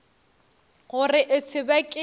gore e se be ke